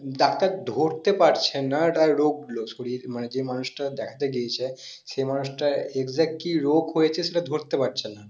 doctor ধরতে পারছেনা ওটা রোগ্ন শরীর মানে যেই মানুষটা দেখতে গেছে সেই মানুষটার exactly কি রোগ হয়েছে ধরতে পারছেনা